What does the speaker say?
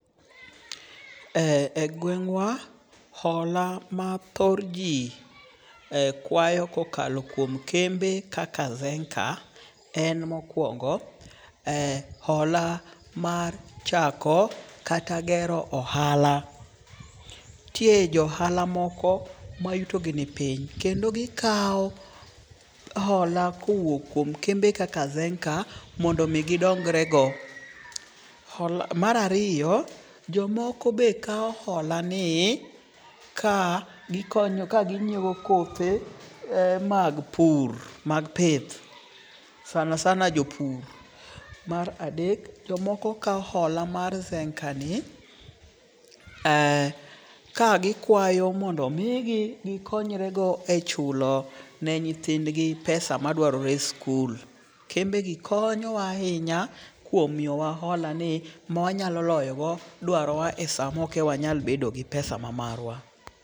E gweng'wa, hola ma thor ji kwayo kokalo kuom kembe kaka Zenka, en mokwongo, hola mar chako kata gero ohala. Nitie joohala moko mayutogi ni piny kendo gikawo hola kowuok kuom kembe kaka Zenka mondo omi gidongrego. Mar ariyo, jomoko be kawo hola ni ka kaginyiewo kothe mag pur mag pith, sanasana jopur. Mar adek, jomoko kawo hola mae Zenkani, ka gikwayo mondo omigi gikonyrego e chulo ne nyithindgi pesa madwarre e skul. Kembegi konyowa ahinya kuom miyowa holani mwanyalo loyogo dwarowa e sama ok e wanyal bedo gi pesa ma marwa.